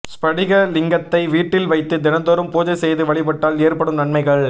ஸ்படிக லிங்கத்தை வீட்டில் வைத்து தினந்தோறும் பூஜை செய்து வழிபட்டால் ஏற்படும் நன்மைகள்